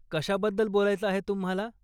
कशाबद्दल बोलायचं आहे तुम्हाला?